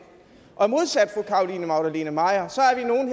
og modsat fru carolina magdalene maier